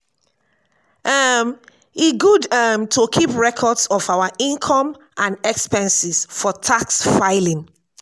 um e good um to keep records of our income and expenses for tax filing.